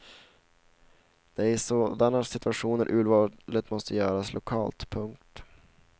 Det är i sådana situationer urvalet måste göras lokalt. punkt